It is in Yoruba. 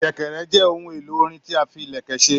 Sẹ̀kẹ̀rẹ̀ jẹ ohun èlò orin tí a fí ilẹkẹ ṣe.